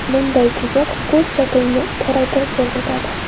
Bunday chiziq ko‘z shaklini toraytirib ko‘rsatadi.